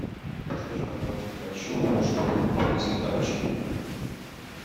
подскажи пожалуйста хочу чтобы принесли тапочки